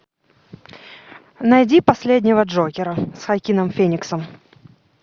найди последнего джокера с хоакином фениксом